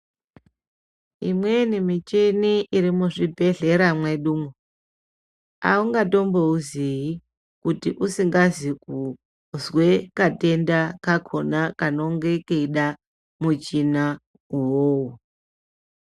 Imweni michini iri muzvibhedhlera mwedumwo, aungatombouziyi, kuti usingazi kuzwe katenda kakhona kanonge keida muchina uwowo.